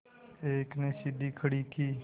एक ने सीढ़ी खड़ी की